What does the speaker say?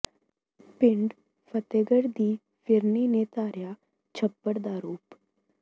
ਪਿੰਡ ਫ਼ਤਿਹਗੜ੍ਹ ਦੀ ਫਿਰਨੀ ਨੇ ਧਾਰਿਆ ਛੱਪੜ ਦਾ ਰੂਪ